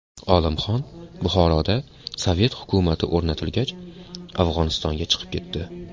Olimxon Buxoroda sovet hukumati o‘rnatilgach, Afg‘onistonga chiqib ketdi.